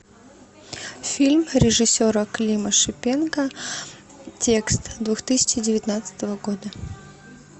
фильм режиссера клима шипенко текст две тысячи девятнадцатого года